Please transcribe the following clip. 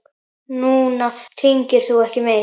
Núna hringir þú ekki meir.